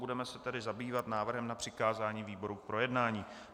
Budeme se tedy zabývat návrhem na přikázání výboru k projednání.